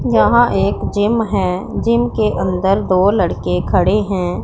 यहां एक जिम है जिम के अंदर दो लड़के खड़े हैं।